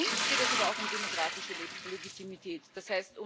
Für uns geht es aber auch um demokratische Legitimität, d.